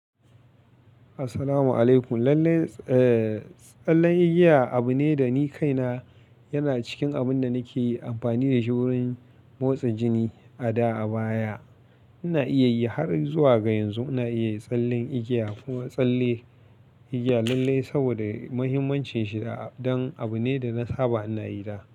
Assalamualaikum. Lallai, eh, tsallen igiya abune da ni kaina yana cikin abunda nake amfani da shi wurin motsa jini a da, a baya. Ina iya yi har zuwa ga yanzu ina iya yin tsallen igiya kuma tsallen igiya lallai sabida muhimmancin shi a-dan abune da na saba ina yi da.